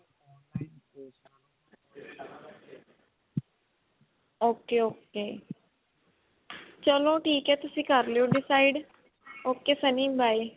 ok ok ਚੱਲੋ ਠੀਕ ਹੈ ਤੁਸੀਂ ਕਰਲਿਓ decide ok sunny by